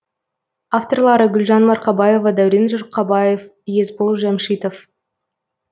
авторлары гүлжан марқабаева дәурен жұрқабаев есбол жамшитов